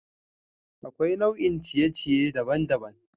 Akwai nau'ikan ciye-ciye daban-daban.